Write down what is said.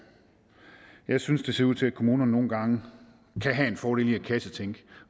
jeg synes det ser ud til at kommunerne nogle gange kan have en fordel i at kassetænke